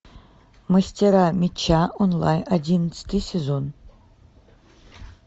мастера меча онлайн одиннадцатый сезон